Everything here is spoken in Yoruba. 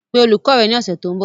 Pe olùkọ́ rẹ ní ọ̀sẹ̀ tó ń bọ̀